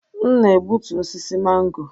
M na-egbutu osisi mango.